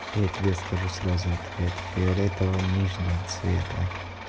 я тебе скажу сразу ответ фиолетово нижнего цвета